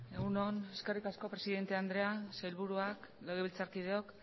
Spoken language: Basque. egun on eskerrik asko presidente andrea sailburuak legebiltzarkideok